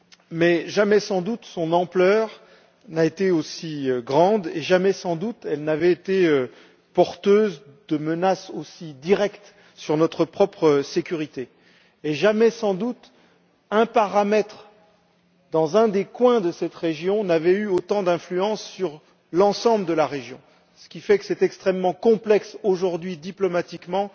Mais jamais, sans doute, son ampleur n'a été aussi grande, jamais, sans doute, elle n'avait été porteuse de menaces aussi directes pour notre propre sécurité et jamais, sans doute, un paramètre dans un des coins de cette région n'avait eu autant d'influence sur l'ensemble de la région, de sorte qu'il est extrêmement complexe, aujourd'hui, diplomatiquement,